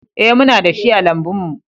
Ee, muna da shi a lambun mu